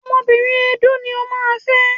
Ọmọbìnrin Edó ni o máa fẹ́.